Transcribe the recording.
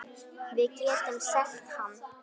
Við getum selt hann.